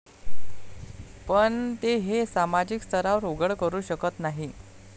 पण ते हे सामाजिक स्तरावर उघड करू शकत नाही.